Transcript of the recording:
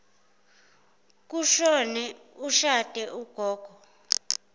kushone oshade ugogo